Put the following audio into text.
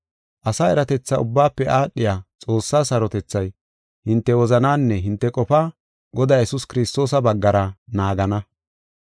Asa eratetha ubbaafe aadhiya Xoossaa sarotethay, hinte wozanaanne hinte qofaa Godaa Yesuus Kiristoosa baggara naagana.